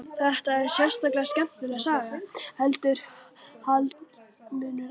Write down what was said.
Þetta er einstaklega skemmtileg saga, heldur Hallmundur áfram.